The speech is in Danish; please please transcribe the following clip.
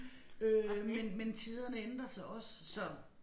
Øh men men tiderne ændrer sig også så